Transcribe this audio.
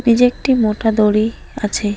নিজে একটি মোটা দড়ি আছে।